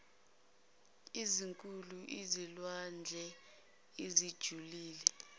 ezinkulu ezilwandle ezijulile